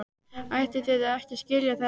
Ætlið þið að skilja þær eftir?